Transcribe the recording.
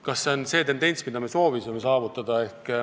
Kas see on see tendents, mida me soovisime saavutada?